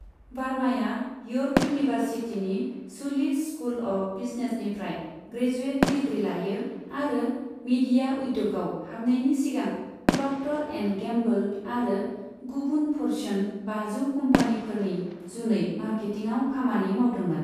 बार्माया York इउनिभार्सिटीनि Schulich School of बिजनेसनिफ्राय graduate degree लायो आरो मीडिया उद्य'गआव हाबनायनि सिगां प्रक्टर एन्ड गेम्बोल आरो गुबुन फर्च्यून बाजौ कम्पानिफोरनि जुनै मार्केटिंआव खामानि मावदोंमोन।